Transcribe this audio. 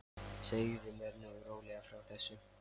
Segðu mér nú rólega frá þessu.